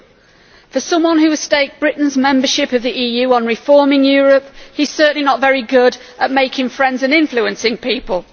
2. For someone who has staked Britain's membership of the EU on reforming Europe, he is certainly not very good at making friends and influencing people.